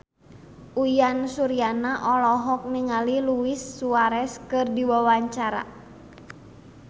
Uyan Suryana olohok ningali Luis Suarez keur diwawancara